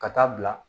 Ka taa bila